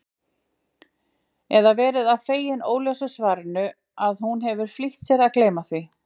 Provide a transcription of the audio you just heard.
Eða verið svo fegin óljósu svarinu að hún hefur flýtt sér að gleyma því.